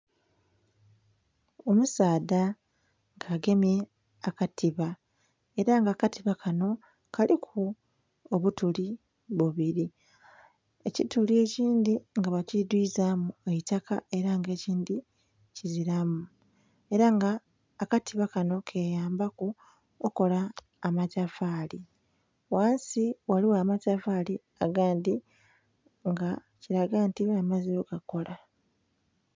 Omusaadha nga agemye ekatiba era nga akatiba kanho kaliku obutuli bubiri, ekituli ekindhi nga bakidhwiza mu eitaka era nga ekindhi kizilamu. Era nga akatiba kanho kayambaku okukola amatofali, ghansi ghaligho amatofali agandhi nga kilaga nti amaze ogakola.